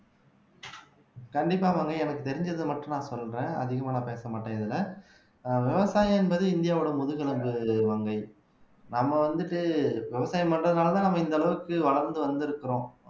கண்டிப்பா மங்கை எனக்கு தெரிஞ்சதை மட்டும் நான் சொல்றேன் அதிகமா நான் பேசமாட்டேன் இதுல விவசாயம் என்பது இந்தியாவோட முதுகெலும்பு மங்கை நம்ம வந்துட்டு விவசாயம் பண்றதுனாலதான் நம்ம இந்த அளவுக்கு வளர்ந்து வந்திருக்கிறோம்